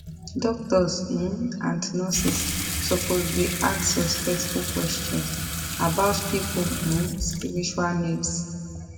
doctors um and nurses suppose dey ask respectful questions about people um spiritual needs